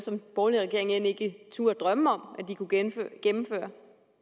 som den borgerlige regering end ikke turde drømme om at gennemføre